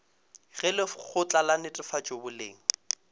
ge lekgotla la netefatšo boleng